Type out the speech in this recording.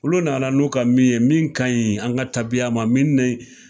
Olu nana n'u ka min ye , min ka ɲi an ka tabiya ma min ni .